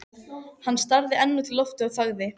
Hann starði enn út í loftið og þagði.